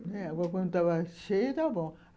Agora, quando estava cheio, estava bom.